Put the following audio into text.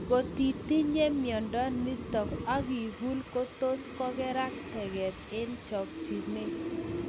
Ngotitinye miondo nitok akikul kotos kokerak teket eng chakchinet